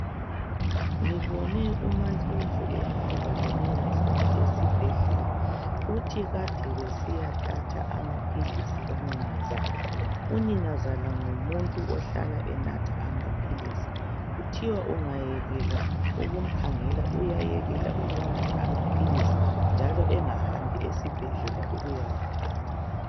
Ngibone uMaNdlovu ehamba loninazala esibhedlela. Uthi kade besiyathatha amaphilisi kaninazala. Uninazala ngumuntu ohlala enatha amaphilisi. Kuthiwa ungayekela ukumkhangela uyayekela ukunatha amaphilisi njalo engahambi esibhedlela ukuyawathatha.